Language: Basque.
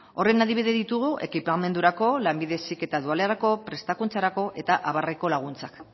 horren adibide ditugu ekipamendurako lanbide heziketa dualerako prestakuntzarako eta abarreko laguntzak